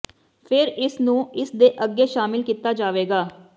ਫਿਰ ਇਸ ਨੂੰ ਇਸ ਦੇ ਅੱਗੇ ਸ਼ਾਮਲ ਕੀਤਾ ਜਾਵੇਗਾ